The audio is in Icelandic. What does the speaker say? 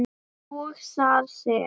og þar sem